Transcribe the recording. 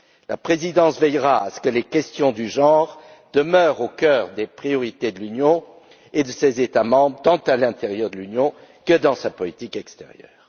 La Présidence veillera à ce que les questions de genre demeurent au cœur des priorités de l'Union et de ses États membres, tant à l'intérieur de l'Union que dans sa politique extérieure.